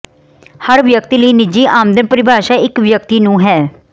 ਹਰ ਵਿਅਕਤੀ ਲਈ ਨਿੱਜੀ ਆਮਦਨ ਪਰਿਭਾਸ਼ਾ ਇੱਕ ਵਿਅਕਤੀ ਨੂੰ ਹੈ